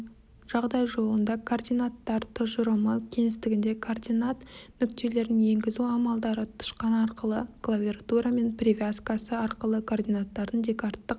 жағдай жолында координаттар тұжырымы кеңістігінде координат нүктелерін енгізу амалдары тышқан арқылы клавиатурамен привязкасы арқылы координаттардың декарттық